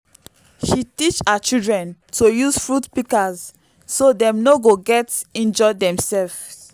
she teach her children to use fruit pikas so dem no go get injure demsefs